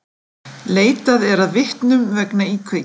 Leitað að vitnum vegna íkveikju